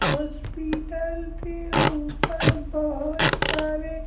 hospital के ऊपर बहुत सारे--